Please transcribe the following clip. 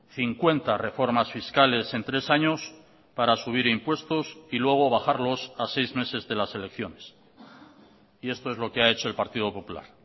cincuenta reformas fiscales en tres años para subir impuestos y luego bajarlos a seis meses de las elecciones y esto es lo que ha hecho el partido popular